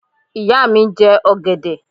Ìyá mi ń jẹ ọ̀gẹ̀dẹ̀.